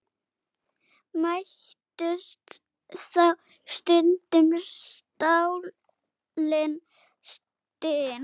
Mættust þá stundum stálin stinn.